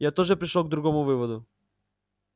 я тоже пришёл к другому выводу